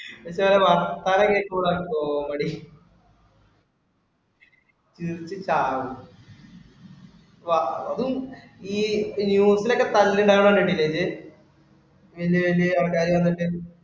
ഇവറ്റകളുടെ വർത്താനം കേൾക്കുമ്പോഴാണ് comedy ചിരിച്ചു ചാവും. അതും ഈ news ഇലോക്കെ തല്ലുണ്ടാവണേ കണ്ടിട്ടില്ലേ അത് വലിയ വലിയ അവതാരകര് വന്നിട്ട്.